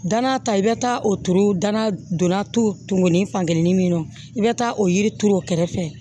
Dana ta i bɛ taa o turu dana donna tukuni fankelen min na i bɛ taa o yiri turu o kɛrɛfɛ